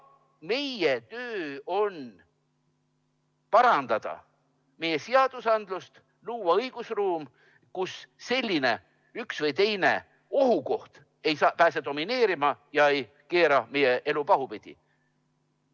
Meie töö on parandada meie seadusandlust, luua õigusruum, kus üks või teine ohukoht ei pääseks domineerima ega keeraks meie elu pahupidi.